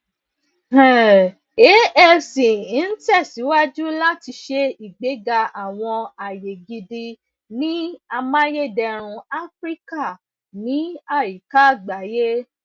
um afc n tẹsiwaju lati ṣe igbega awọn aye gidi ni amayederun afirika ni ayika agbaye